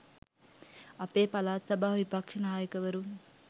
අපේ පළාත් සභා විපක්ෂ නායකවරුන්